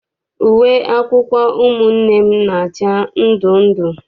Uwe akwụkwọ ụmụnne m na-acha ndundu.